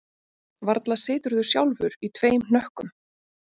Varla siturðu sjálfur í tveim hnökkum